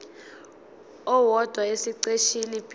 owodwa esiqeshini b